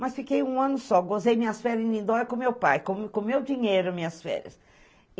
Mas fiquei um ano só, gozei minhas férias em Lindói com meu pai, com o meu dinheiro, minhas férias.